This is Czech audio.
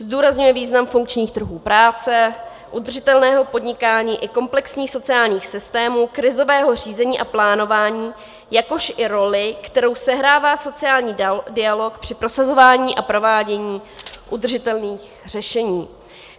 Zdůrazňuje význam funkčních trhů práce, udržitelného podnikáni i komplexních sociálních systémů, krizového řízení a plánování, jakož i roli, kterou sehrává sociální dialog při prosazování a provádění udržitelných řešení.